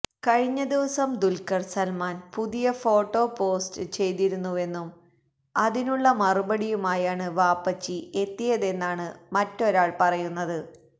കഴിഞ്ഞ ദിവസം ദുല്ഖര് സല്മാന് പുതിയ ഫോട്ടോ പോസ്റ്റ് ചെയ്തിരുന്നുവെന്നും അതിനുള്ള മറുപടിയുമായാണ് വാപ്പച്ചി എത്തിയതെന്നാണ് മറ്റൊരാള് പറയുന്നത്